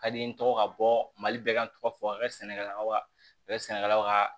Ka di n ye n tɔgɔ ka bɔ mali bɛɛ ka tɔgɔ fɔ a ka sɛnɛkɛlaw ka a bɛ sɛnɛkɛlaw ka